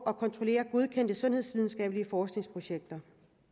og kontrollere godkendte sundhedsvidenskabelige forskningsprojekter